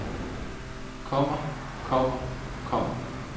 kommer kommer kommer